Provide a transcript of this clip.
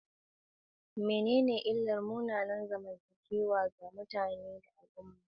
Menene illar munanan zamantakewa ga mutane da al'umma?